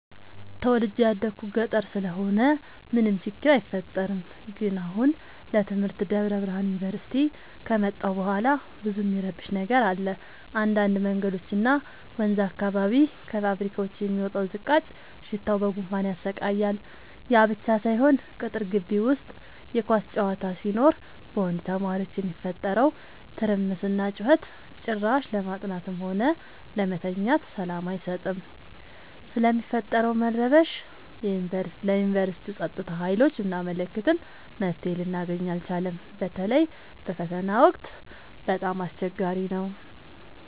ተወልጄ የደኩት ገጠር ስለሆነ ምንም ችግር አይፈጠርም። ግን አሁን ለትምህርት ደብረብርሃን ዮንቨርሲቲ ከመጣሁ በኋላ ብዙ እሚረብሽ ነገር አለ እንዳድ መንገዶች እና ወንዝ አካባቢ ከፋብካዎች የሚወጣው ዝቃጭ ሽታው በጉንፋን ያሰቃያል። ያብቻ ሳይሆን ቅጥር ጊቢ ውስጥ የኳስ ጨዋታ ሲኖር በወንድ ተማሪዎች የሚፈጠረው ትርምስና ጩኸት ጭራሽ ለማጥናትም ሆነ ለመተኛት ሰላም አይሰጥም። ስለሚፈጠረው መረበሽ ለዮንቨርስቲው ፀጥታ ሀይሎች ብናመለክትም መፍትሔ ልናገኝ አልቻልም። በተለይ በፈተና ወቅት በጣም አስቸገሪ ነው።